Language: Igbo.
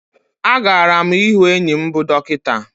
A gara mu ịhụ enyi m bụ dọkịta